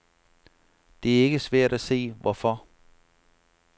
Det er ikke svært at se hvorfor.